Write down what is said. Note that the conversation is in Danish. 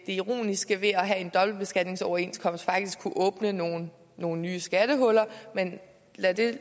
ironiske ved at det at have en dobbeltbeskatningsoverenskomst faktisk kunne åbne nogle nogle nye skattehuller lad det